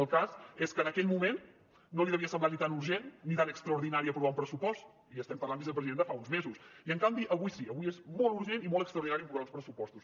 el cas és que en aquell moment no li devia semblar ni tan urgent ni tan extraordinari aprovar un pressupost i estem parlant vicepresident de fa uns mesos i en canvi avui sí avui és molt urgent i molt extraordinari aprovar uns pressupostos